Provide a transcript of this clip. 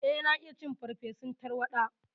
Eh, na iya cin farfesun tarwaɗa.